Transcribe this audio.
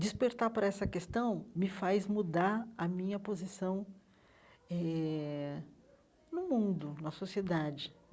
Despertar por essa questão me faz mudar a minha posição eh no mundo, na sociedade.